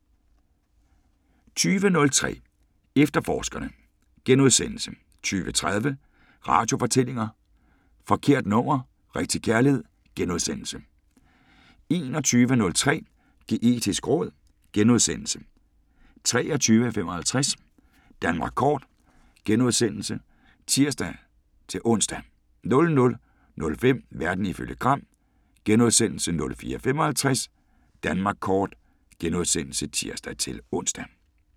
20:03: Efterforskerne * 20:30: Radiofortællinger: Forkert nummer – rigtig kærlighed * 21:03: Geetisk råd * 23:55: Danmark Kort *(tir-ons) 00:05: Verden ifølge Gram * 04:55: Danmark Kort *(tir-ons)